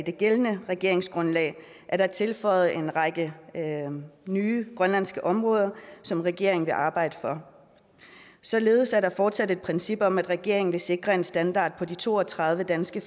det gældende regeringsgrundlag er der tilføjet en række nye grønlandske områder som regeringen vil arbejde for således er der fortsat et princip om at regeringen vil sikre en standard på de to og tredive danske